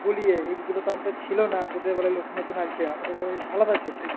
বলিয়ে এইগুলো তো আমাদের ছিল না তোদের বেলায় নতুন নতুন আলছে আমাদের বেলায় আলাদা ছিল